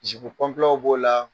Jipu kɔnpilɛw b'o la.